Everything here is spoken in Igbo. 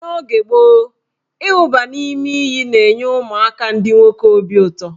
N' oge gboo, ịwụba n' ime iyi na-enye ụmụaka ndị nwoke obi ụtọ.